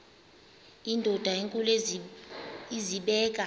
indod enkulu izibeke